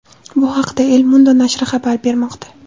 Bu haqda El Mundo nashri xabar bermoqda .